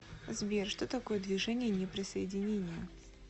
сбер что такое движение неприсоединения